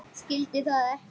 Skildi það ekki.